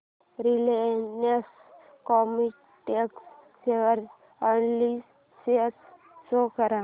Reliance Chemotex share analysis show कर